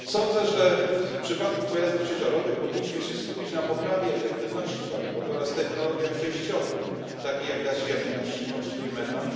Sądzę, że w przypadku pojazdów ciężarowych powinniśmy skupić się na poprawie efektywności paliwowej oraz technologiach przejściowych, takich jak gaz ziemny, a w szczególności biometan,